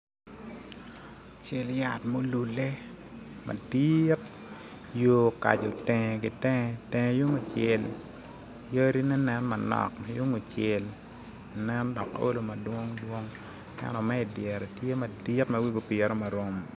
Cal yat ma olule madit yor okaco tenge ki tenge, tenge tung kucel yadine nen manok ma tung kucel nen dok olo madwong dwong ento me idyere tye madit ma wi-gi opire marom